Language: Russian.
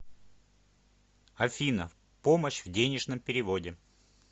афина помощь в денежном переводе